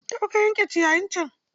Tafi ka yanke ciyayin can!